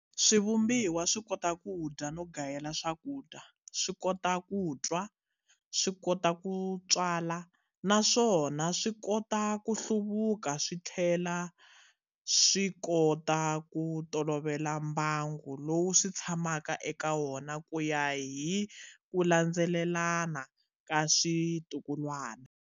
Swivumbiwa swikota kudya no gayela swakudya, swikota ku twa, swikota ku tswala, naswona swikota ku hluvuka swithlela swikota ko tolovela mbangu lowu switshamaka eka wona kuya hi kulandzelelana ka switukulwana.